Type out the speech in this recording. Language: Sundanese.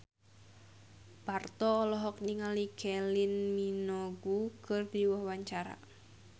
Parto olohok ningali Kylie Minogue keur diwawancara